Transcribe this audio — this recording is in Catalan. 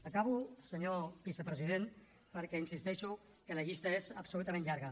acabo senyor vicepresident perquè insisteixo que la llista és absolutament llarga